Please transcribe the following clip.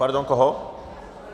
Pardon, koho?